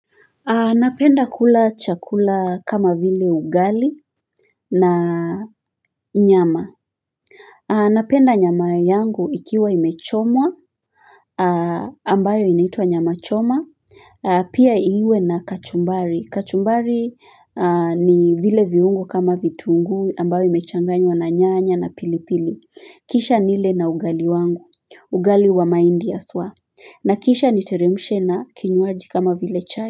Napenda kula chakula kama vile ugali na nyama. Napenda nyama yangu ikiwa imechomwa, ambayo inaitwa nyama choma, pia iwe na kachumbari. Kachumbari ni vile viungo kama vituungu ambayo imechanganywa na nyanya na pilipili. Kisha nile na ugali wangu, ugali wa maindi aswa. Na kisha niteremshe na kinywaji kama vile chai.